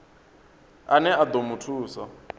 ane a ḓo mu thusa